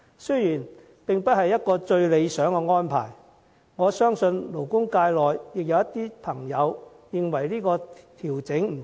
這並不是最理想的安排，有勞工界人士認為調整不足。